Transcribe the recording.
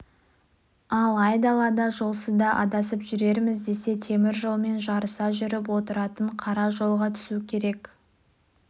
ал айдалада жолсызда адасып жүрерміз десе темір жолмен жарыса жүріп отыратын қара жолға түсу керек